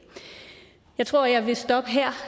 jeg tror jeg vil stoppe her